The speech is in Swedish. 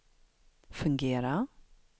fungera